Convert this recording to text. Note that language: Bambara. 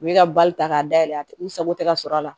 U bɛ ka bali ta k'a dayɛlɛ u sago tɛ ka sɔrɔ a la